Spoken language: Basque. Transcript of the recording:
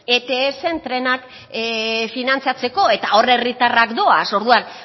ets trenak finantzatzeko eta hor herritarrak doaz orduan